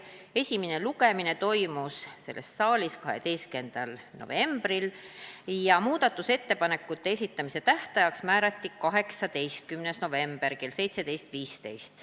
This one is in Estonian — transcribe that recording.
Esimene lugemine toimus selles saalis 12. novembril ja muudatusettepanekute esitamise tähtajaks määrati 18. november kell 17.15.